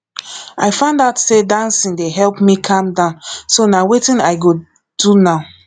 i find out say dancing dey help me calm down so na wetin i go do now